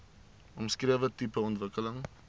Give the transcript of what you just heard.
omskrewe tipe ontwikkeling